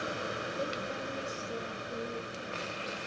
Ykkar missir er mikil.